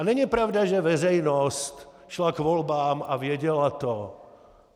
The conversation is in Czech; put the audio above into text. A není pravda, že veřejnost šla k volbám a věděla to.